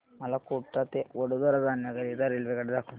मला कोटा ते वडोदरा जाण्या करीता रेल्वेगाड्या दाखवा